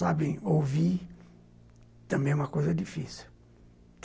Sabem, ouvir também é uma coisa difícil.